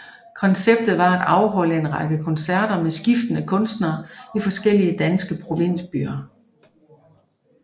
Konceptet var at afholde en række koncerter med skiftende kunstnere i forskellige danske provinsbyer